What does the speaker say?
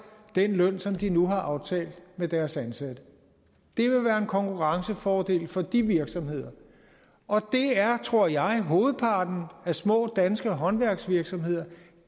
den løn som de nu har aftalt med deres ansatte det vil være en konkurrencefordel for de virksomheder og det er tror jeg hovedparten af små danske håndværksvirksomheder